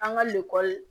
An ka